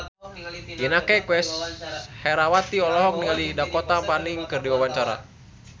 Inneke Koesherawati olohok ningali Dakota Fanning keur diwawancara